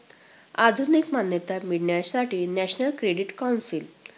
आधुनिक मान्यता मिळण्यासाठी National Credit Council.